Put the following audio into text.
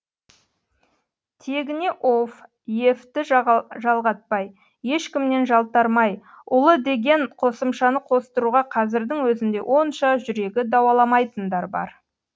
тегіне ов ев ті жалғатпай ешкімнен жалтармай ұлы деген қосымшаны қостыруға қазірдің өзінде онша жүрегі дауаламайтындар бар